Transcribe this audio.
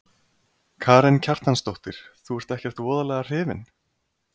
Karen Kjartansdóttir: Þú ert ekkert voðalega hrifinn?